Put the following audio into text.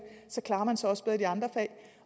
klarer man sig også bedre i de andre fag